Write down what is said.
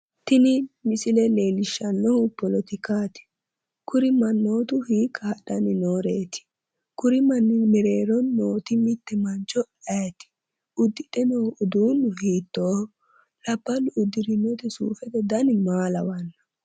Tini misile leellishshannohu poletikaaati kuri mannootu hiikka hadhanni nooreeti? Kuri manni mereero mootimmitte mancho ayeeti? Uddidhe noo uduunni hiittooho? Labballu uddidhe noo suufete dani maa lawanno?